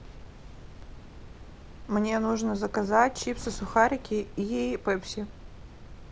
мне нужно заказать чипсы сухарики и пепси